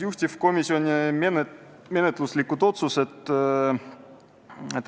Juhtivkomisjoni menetluslikud otsused on järgmised.